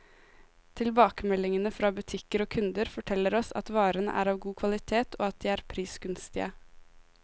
Tilbakemeldingene fra butikker og kunder, forteller oss at varene er av god kvalitet, og at de er prisgunstige.